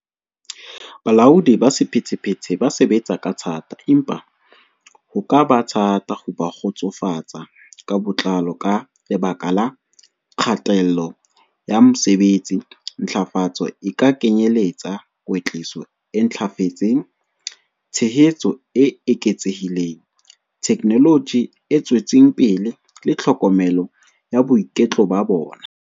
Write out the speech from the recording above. Bolaodi ba sephethephethe ba sebetsa ka thata, empa ho ka ba thata ho kgotsofatsa ka botlalo ka lebaka la kgatello ya mosebetsi. Ntlafatso e ka kenyeletsa kwetliso e ntlafetseng, tshehetso e eketsehileng, technology e tswetseng pele le tlhokomelo ya boiketlo ba bona.